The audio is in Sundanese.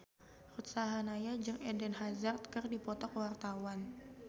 Ruth Sahanaya jeung Eden Hazard keur dipoto ku wartawan